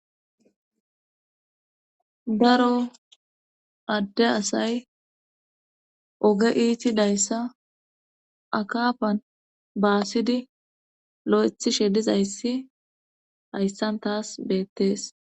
Daro adde asay oge iiti dayssa akapan baasidi lo'ethishe dizayssi hayssan taas beettees.